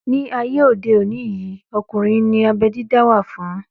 Ní ayé òde òní yìí, ọkùnrin ní abẹ́ dídá wá fún